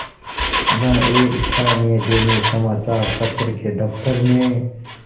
वह एक स्थानीय दैनिक समचार पत्र के दफ्तर में